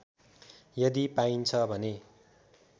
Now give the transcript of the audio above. यदि पाइन्छ भने